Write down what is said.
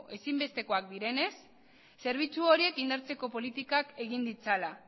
ezinbestekoak direnez zerbitzu horiek indartzeko politikak egin ditzala